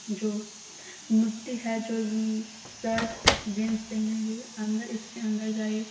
जो मूर्ति है जो म्मम एम्म शर्ट जींस पहने हुए अंदर इसके अंदर जाइये।